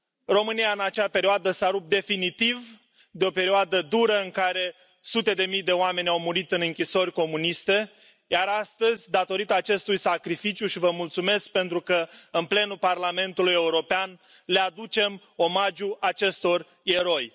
România, în acea perioadă, s a rupt definitiv de o perioadă dură în care sute de mii de oameni au murit în închisori comuniste, iar astăzi, datorită acestui sacrificiu și vă mulțumesc pentru că în plenul Parlamentului European le aducem omagiu acestor eroi